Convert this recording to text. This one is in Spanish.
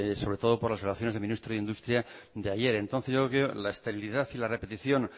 sobre todo por las relaciones del ministro de industria de ayer entonces yo lo que digo la esterilidad y la repetición